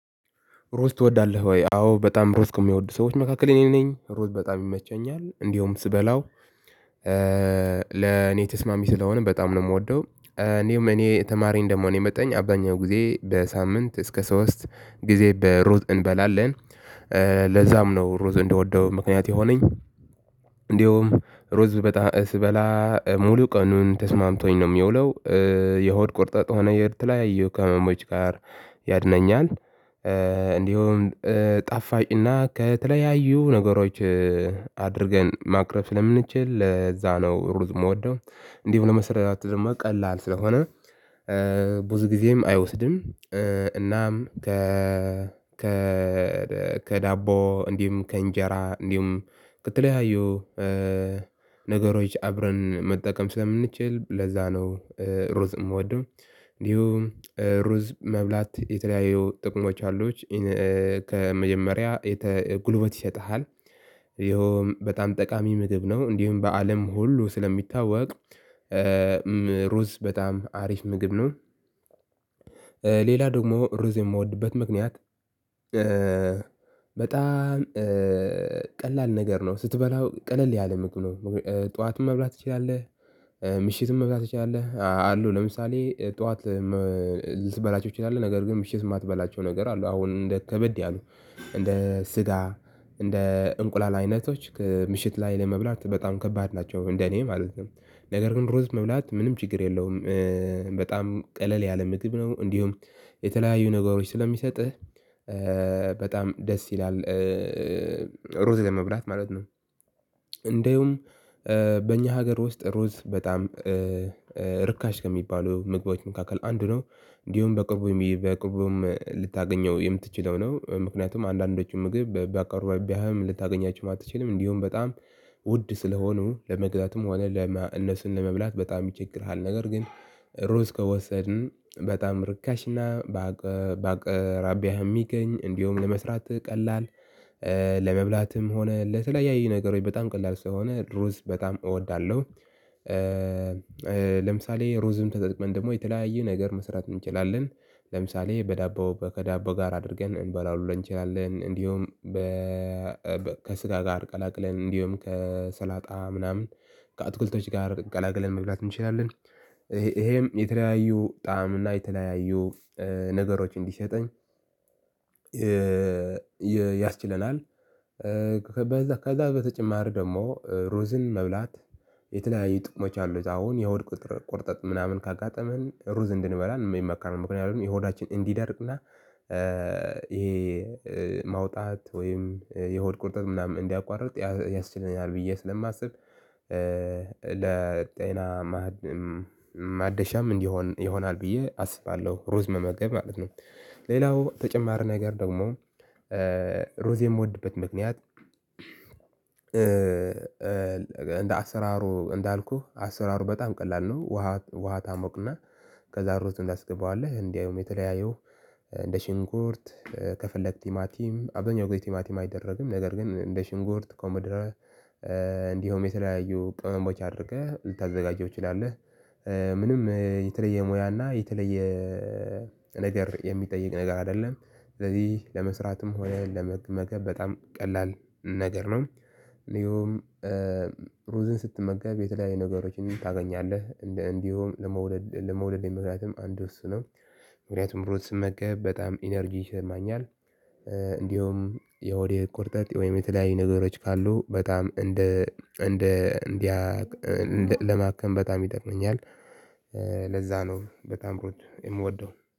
እሩዝ ትወዳለህ ወይ? አዎ በጣም እሩዝ ከሚወዱ ሰዎች መካከል እኔ ነኝ እሩዝ በጣም ይመቸኛል እንዲሁም ስበላው ለእኔ ተስማሚ ስለሆነ በጣም ነው እምወደው። እንዲሁም እኔ ተማሪ እንደመሆኔ መጠን አብዛኛው ጊዜ በሳምንት እስከ ሶስት ጊዜ በሩዝ እንበላለን ለዛም ነው ሩዝ እንደወደው ምክንያት የሆነኝ። እንደውም እሩዝ በጣም ስበላ ሙሉ ቀኑን ተስማምቶኝ ነው የሚውለው። የሆድ ቁርጠት ሆነ የተለያየው ከህመሞች ጋር ያድነኛል። እንዲሁም ጣፋጭና ከተለያዩ ነገሮች አድርገን ማቅረብ ስለምንችል ለዛ ነው ሩዝ እምወደው። እንዲህ ለመሰራት ደግሞ ቀላል ስለሆነ ብዙ ጊዜም አይወስድም። እና ከ ከ ከዳቦም ከእንጀራ እንዲሁም ከተለዩ እ ነገሮች አብረን መጠቀም ስለምንችል ለዛ ነው ሩዝ እምወደው። እንዲሁ ሩዝ መብላት የተለያየው ጥቅሞች አሉት። ከመጀመሪያ የተ ጉልበት ይሰጥሃል። ይሄውም በጣም ጠቃሚ ምግብ ነው እንዲሁም በአለም ሁሉ ስለሚታወቅ። ሩዝ በጣም አሪፍ ምግብ ነው። ሌላ ደግሞ ሩዝ የምወድበት ምክንያት በጣም ቀላል ነገር ነው ስትበላው ቀለል ያለምግብ ነው። ጠዋትም መብላት ትችላለህ ምሽትም መብላት ትችላለህ አሉ ለምሳሌ ጠዋት ልትበላቸው ትችላለህ ነገር ግን ምሽት እማትበላቸው ነገር አሉ። አሁን እንደ ከበድ ያሉ እንደ ስጋ እንደ እንቁላል አይነቶች ምሽት ላይ ለመብላት በጣም ከባድ ናቸው። እንደኔ ማለትነው ነገር ግን ሩዝ መብላት ምንም ችግር የለውም። እእ በጣም ቀለል ያለ ምግብ ነው። እንዲሁም የተለያዩ ነገሮች ስለሚሰጥህ በጣም ደስ ይላል እረዝ ለመብላት ማለት ነው። እንዲሁም በእኛ ሀገር ውስጥ እሩዝ በጣም እርካሽ ከሚባሉ ምግቦች መካከል አንዱ ነው። እንዲሁም በቅርቡ በቅርቡም ልታገኘው የምትችለው ነው ምክንያቱም አንዳንዶቹን ምግብ በአቅቢያህም ልታገኛቸውም አትችልም። እንዲሁም በጣም ውድ ስለሆኑ ለመግዛትም ሆነ ለ እነሱን ለመብላት በጣም ይቸግርሃል። ነገር ግን ሩዝ ከወሰድን በጣም ርካሽና ባቅ ባቅራቢያህ የሚገኝ እንዲሁም ለመስራት ቀላል ለመብላትም ሆነ ለተለያዩ ነገሮች በጣም ቀላል ስለሆነ እሩዝ በጣም እወዳለሁ። ለምሳሌ ሩዝን ተጠቅመን ደግሞ የተለያየ ነገር መስራት እንችላለን። ለምሳሌ በዳቦ ከዳቦ ጋር አድርገን እንበላ ሁላ እንችላለን እንዲሁም ከስጋ ጋር ቀላቅለን እነዲሁም ከሰላጣ ምንም ከአትክልቶች ጋር ቀላቅለን መብላት እንችላለን። ይሄም የተለያዩ ጣዕም እና የተለያዩ ነገሮች እንዲሰጠን የ ያስችለናል። እ በዛ ከዛ በተጨማሪ ደግሞ ሩዝን መብላት የተለያየ ጥቅሞች አሉት። አሁን የሆድ ቁጥር ቁርጠት ምናምን ካጋጠመን ሩዝ እንድንበላን የሚመከረው ምክንያቱም የሆዳችን እንዲደርቅና ይሄ ማውጣት ወይም የሆድ ቁርጠት ምናምን እንዲያቋርጥ ያስችለናል። ብዬ ስለማስብ ለጤና ማደሻም እንዲሆን ይሆናል ብዬ አስባለሁ ሩዝ መመገብ ማለት ነው። ሌላው ተጨማሪ ነገር ደግሞ እሩዝ የምወድበት ምክንያት እንደ አሰራሩ እንዳልኩህ አሰራሩ በጣም ቀላል ነው። ውሃ ውሃ ታሞቅና ከዛ ሩዙን ታስገባዋለህ አለህ እንዲያውም የተለያየው እንደ ሽንኩርት ከፈለክ ቲማቲም አብዛኛው ጊዜ ቲማቲም አይደረግም ነገር ግን እንደ ሽንኩርት ኮመድራ እንዲሁም የተለያዩ ቅመሞችን አድርገህ ልታዘጋጀው ትችላለህ። ምንም የተለየ ሙያ እና የተለየ ነገር የሚጠይቅ ነገር አይደለም። ስለዚህ ለመስራትም ሆነ ለመመገብ በጣም ቀላል ነገር ነው። እንዲሁም ሩዝን ስትመገብ የተለያየ ነገሮችን ታገኛለህ እንደ እንዲሁም ለመውደድ ለመውለዴ ምክንያትም አንድ እሱ ነው። ምክንያቱም እሩዝ ስመገብ በጣም ኢነርጂ ይሰማኛል። እንዲሁም የሆዴ ቁርጠጥ ወይም የተለያዩ ነገሮች ካሉ በጣም እንደ እንደ እንዲያ ለማከም በጣም ይጠቅመኛል። ለዛ ነው በጣም ሩዝ የምወደው